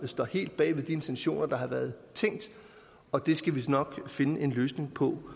står helt bag ved de intentioner der har været tænkt og vi skal nok finde en løsning på